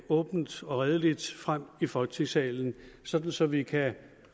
åbent og redeligt frem i folketingssalen sådan så vi kan